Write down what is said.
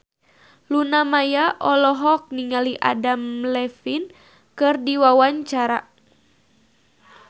Luna Maya olohok ningali Adam Levine keur diwawancara